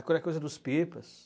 Aquela coisa dos pipas.